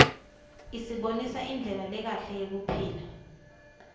isibonisa indlela lekahle yekuphila